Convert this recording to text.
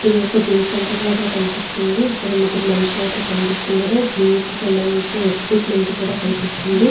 ఇది ఒక gym centre లాగా కనిపిస్తుంది. ఇక్కడ ముగ్గురు మనుషులు అయితే కనిపిస్తున్నారు. జిమ్ కి సంబంధించిన ఎక్విప్మెంట్ కూడా కనిపిస్తుంది.